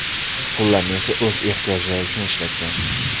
Pullarni esa o‘z ehtiyojlari uchun ishlatgan.